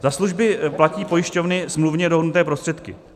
Za služby platí pojišťovny smluvně dohodnuté prostředky.